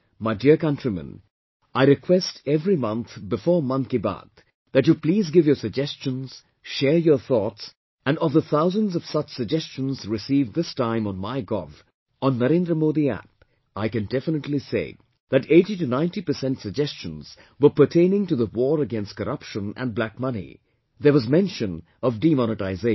My dear countrymen, I request every month before 'Mann Ki Baat' that you please give your suggestions, share your thoughts; and of the thousands of such suggestions received this time on MyGov, on NarendraModiApp, I can definitely say that 80 to 90% suggestions were pertaining to the war against corruption and black money, there was mention of demonetization